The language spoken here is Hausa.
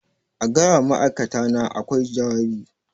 A gaya wa ma'aikatana a kwai jawabi